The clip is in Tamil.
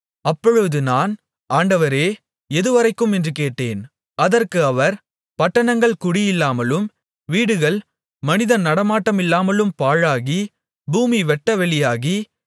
அப்பொழுது நான் ஆண்டவரே எதுவரைக்கும் என்று கேட்டேன் அதற்கு அவர் பட்டணங்கள் குடியில்லாமலும் வீடுகள் மனித நடமாட்டமில்லாமலும் பாழாகி பூமி வெட்டவெளியாகி